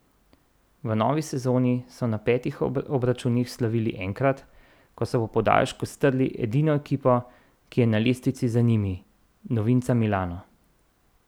V novi sezoni so na petih obračunih slavili enkrat, ko so po podaljšku strli edino ekipo, ki je na lestvici za njimi, novinca Milano.